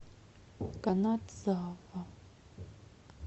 канадзава